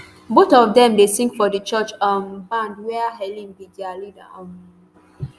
both of dem dey sing for di church um band wia heleln be dia leader um